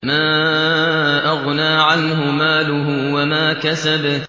مَا أَغْنَىٰ عَنْهُ مَالُهُ وَمَا كَسَبَ